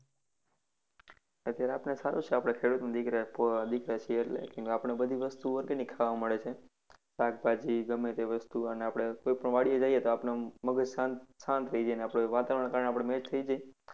અત્યારે આપણે સારુ છે આપણે ખેડુતોના દીકરા દીકરા છીએ એટલે કેમ કે આપણે બધી વસ્તુ organic ખાવા મળે છે. શાકભાજી ગમે તે વસ્તુ અને આપણે કોઈ પણ વાડીએ જઈએ તો આપણું મગજ શાન્ત શાન્ત થઇ જાય વાતવરણ ના કારણે થઇ જાય.